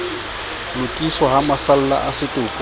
lokiswa ha masalla a setopo